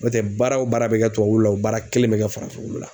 N'o tɛ baara o baara bɛ kɛ tubabuwulu la o baara kelen bɛ kɛ farafinwulu la.